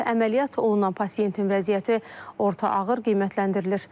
Əməliyyat olunan pasientin vəziyyəti orta ağır qiymətləndirilir.